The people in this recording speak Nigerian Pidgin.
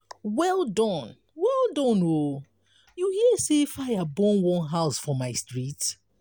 well done well done o you hear sey fire burn one house for my street?